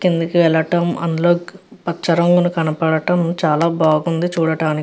కిందకి వెళ్ళడం అందులో పచ్చ రంగుని కనపడటం చాలా బాగుంది చూడటానికి.